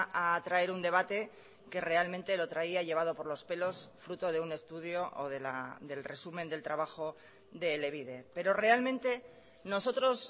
a traer un debate que realmente lo traía llevado por los pelos fruto de un estudio o del resumen del trabajo de elebide pero realmente nosotros